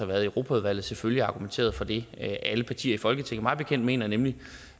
været i europaudvalget selvfølgelig argumenteret for det på af alle partier i folketinget jeg mener nemlig